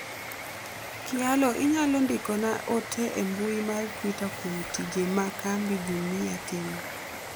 kyalo inyalo ndikona ote e mbui mar twita kuom tije ma kambi Jumia timo